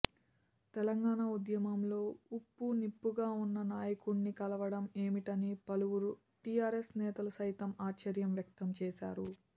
తెలంగాణ ఉద్యమంలో ఉప్పునిప్పుగా ఉన్న నాయకుడిని కలవడం ఏమిటని పలువురు టీఆర్ఎస్ నేతలు సైతం ఆశ్చర్యం వ్యక్తం చేశారు